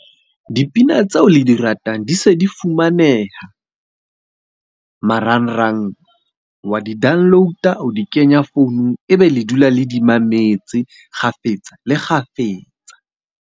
Dipina tseo le di ratang di se di fumaneha marangrang. Wa di download-a, o di kenya founung. E be le dula le di mametse kgafetsa le kgafetsa.